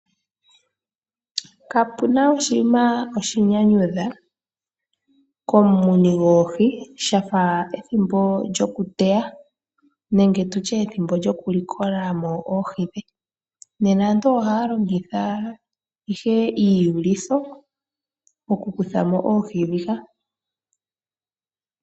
Kapu na oshinima oshinyanyudhi komumuni sha fa ethimbo lyokuteya nenge ethimbo lyokulikolamo oohi. Nena aantu ohaya longitha ihe iiyulitho okukuthamo oohi ndhika.